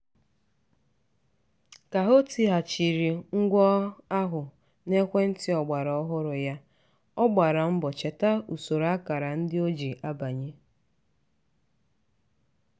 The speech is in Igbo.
ka o tighachiri ngwa ahụ n'ekwentị ọgbara ọhụrụ ya ọ gbara mbọcheta usoro akara ndị o ji abanye.